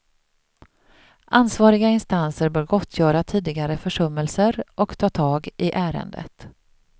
Ansvariga instanser bör gottgöra tidigare försummelser och ta tag i ärendet.